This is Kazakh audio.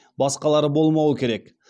басқалары болмауы керек